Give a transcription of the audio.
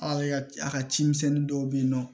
A ka a ka cimisɛnnin dɔw bɛ yen nɔ